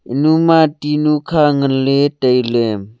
enuma tinu kha nganley tailey.